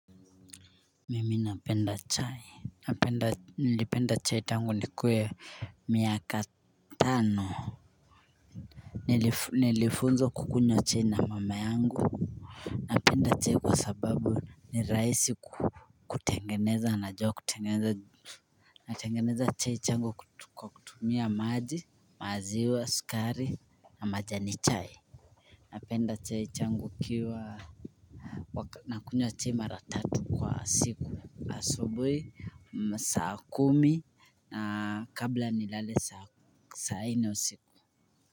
Mimi napenda chai nilipenda chai tangu nikuwe miaka tano. Nilifunzwa kukunywa chai na mama yangu. Napenda chai kwa sababu ni rahisi kutengeneza najua kutengeneza. Natengeneza chai yangu kutumia maji maziwa sukari na majani chai. Napenda chai yangu ikiwa nakunywa mara tatu kwa siku asubuhi saa kumi na kabla nilale saa nne usiku.